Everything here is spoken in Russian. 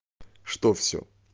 что все